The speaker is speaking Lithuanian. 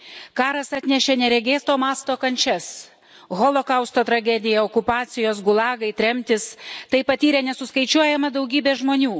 Karas atnešė neregėto masto kančias Holokausto tragedija, okupacijos, gulagai, tremtys tai patyrė nesuskaičiuojama daugybė žmonių.